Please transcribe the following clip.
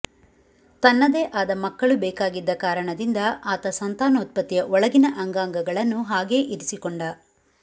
ತನ್ನದೇ ಆದ ಮಕ್ಕಳು ಬೇಕಾಗಿದ್ದ ಕಾರಣದಿಂದ ಆತ ಸಂತಾನೋತ್ಪತ್ತಿಯ ಒಳಗಿನ ಅಂಗಾಂಗಗಳನ್ನು ಹಾಗೆ ಇರಿಸಿಕೊಂಡ